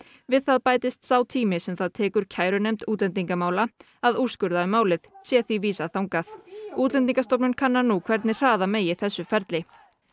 við það bætist sá tími sem það tekur kærunefnd útlendingamála að úrskurða um málið sé því vísað þangað Útlendingastofnun kannar nú hvernig hraða megi þessu ferli